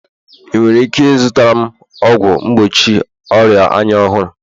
ị nwere ike ịzụtara m ọgwụ mgbochi ọria anya ọhụrụ?